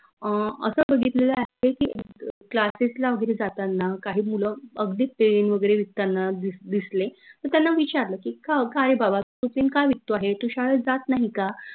अं असं बघितलेलं आहेत की Classes ला वगैरे जातांना काही मुलं अगदी pen वगैरे विकतांना दिसले मी त्यांना विचारलं की का काय रे बाबा तू pen का विकतो आहे? तू शाळेत जात नाही का?